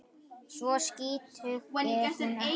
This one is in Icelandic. Svo skítug er hún ekki.